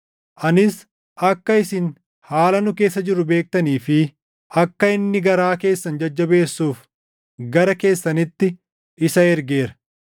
Anis akka isin haala nu keessa jirru beektanii fi akka inni garaa keessan jajjabeessuuf gara keessanitti isa ergeera.